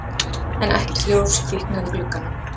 En ekkert ljós kviknaði í glugganum.